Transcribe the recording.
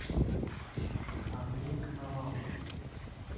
андрей коновалов